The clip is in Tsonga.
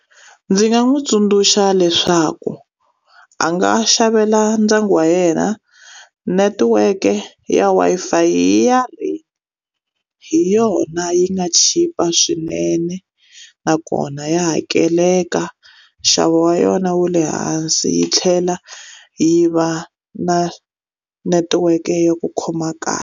Ndzi nga n'wi tsundzuxa leswaku a nga xavela ndyangu wa yena netiweke ya Wi-Fi ya Rain. Hi yona yi nga chipa swinene, nakona ya hakeleka. Nxavo wa yona wu le hansi yi tlhela yi va na netiweke ya ku khoma kahle.